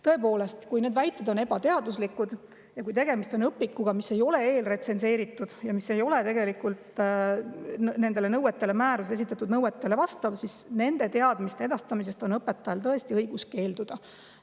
" Tõepoolest, kui need väited on ebateaduslikud ja kui tegemist on õpikuga, mis ei ole eelretsenseeritud ja mis ei vasta määruses esitatud nõuetele, siis nende teadmiste edastamisest on õpetajal tõesti õigus keelduda.